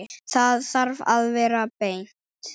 Það þarf að vera beint.